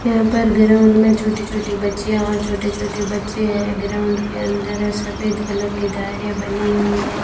यहां पर ग्राउंड में छोटी छोटी बच्चियां और छोटे छोटे बच्चे हैं ग्राउंड के अंदर सफेद कलर की धारियां बनी हुई हैं।